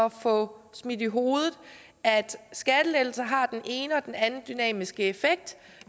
at få smidt i hovedet at skattelettelser har den ene og den anden dynamiske effekt